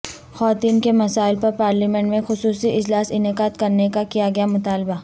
خواتین کے مسائل پر پارلیمنٹ میں خصوصی اجلاس انعقاد کرنے کا کیا گیا مطالبہ